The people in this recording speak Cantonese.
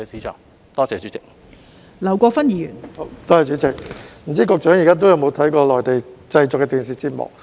代理主席，我不知道局長現時有否收看內地製作的電視節目。